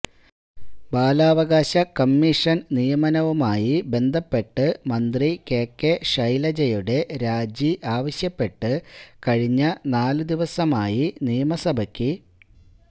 ബാലാവകാശ കമ്മീഷന് നിയമനവുമായി ബന്ധപ്പെട്ട് മന്ത്രി കെ കെ ശൈലജയുടെ രാജി ആവശ്യപ്പെട്ട് കഴിഞ്ഞ നാല് ദിവസമായി നിയമസഭയ്ക്ക്